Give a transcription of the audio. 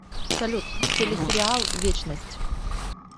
салют теле сериал вечность